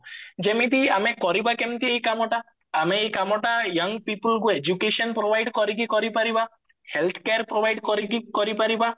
ଯେମିତି ଆମେ କରିବା କେମିତି ଏଇ କାମଟା ଆମେ ଏଇ କାମଟା young people କୁ education provide କରିକି କଇରପାରିବା health care provide କରିକି କରିପାରିବା